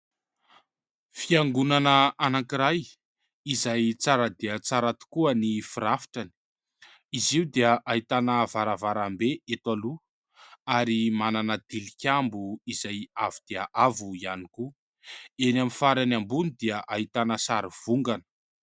Fiangonana anankiray izay tsara dia tsara tokoa ny firafitrany. Izy io dia ahitana varavarambe eto aloha ary manana tilikambo izay avo dia avo ihany koa ; eny amin'ny farany ambony dia ahitana sarivongana.